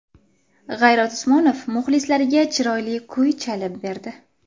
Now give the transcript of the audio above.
G‘ayrat Usmonov muxlislariga chiroyli kuy chalib berdi.